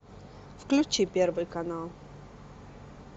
включи первый канал